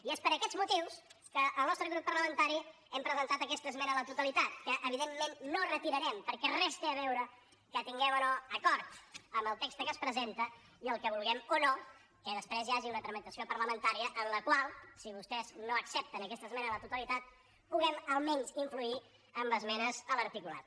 i és per aquests motius que el nostre grup parlamentari hem presentat aquesta esmena a la totalitat que evidentment no retirarem perquè res té a veure que tinguem o no acord amb el text que es presenta i que vulguem o no que després hi hagi una tramitació parlamentària en la qual si vostès no accepten aquesta esmena a la totalitat puguem almenys influir amb esmenes a l’articulat